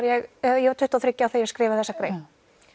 ég ég var tuttugu og þriggja ára þegar ég skrifaði þessa grein